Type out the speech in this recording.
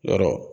Yɔrɔ